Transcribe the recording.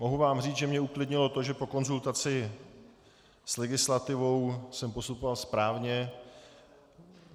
Mohu vám říct, že mě uklidnilo to, že po konzultaci s legislativou jsem postupoval správně.